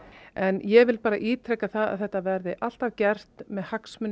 en ég vil bara ítreka að þetta verði alltaf gert með hagsmuni